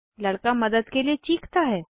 लड़का मदद के लिए चीखता है